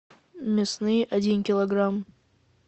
мясные один килограмм